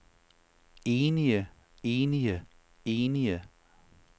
enige enige enige